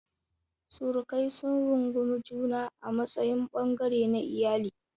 Surukai sun rungumi juna a matsayin ɓangare na iyali.